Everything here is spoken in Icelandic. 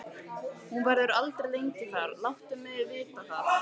Hún verður aldrei lengi þar, láttu mig vita það.